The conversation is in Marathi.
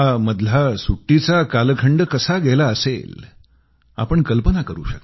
हा मधला सुट्टीचा कालखंड कसा गेला असेल आपण कल्पना करू